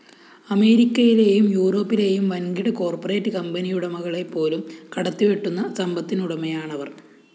അമേരിക്കയിലെയും യൂറോപ്പിലെയും വന്‍കിട കോർപ്പറേറ്റ്‌ കമ്പനിയുടമകളെപ്പോലും കടത്തിവെട്ടുന്ന സമ്പത്തിനുടമയാണവര്‍